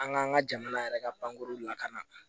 An k'an ka jamana yɛrɛ ka banguru lakana